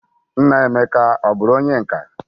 Nna Emeka o buru onye nka?